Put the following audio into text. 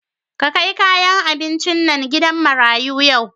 Ka kai kayan abincin nan gidan marayu yau.